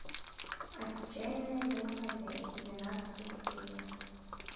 отчаянные домохозяйки двенадцатая серия